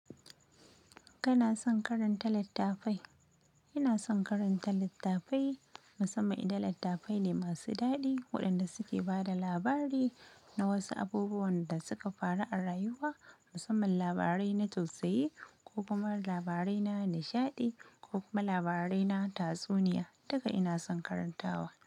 Kana son karanta littafai? Ina son karanta littafai, musamman idan littafai ne masu daɗi waɗanda suke ba da labari na wasu abubuwan da suka faru a rayuwa, musamman labarai na tausayi ko kuma labarai na nishaɗi ko kuma labarai na tatsuniya, duka ina son karantawa.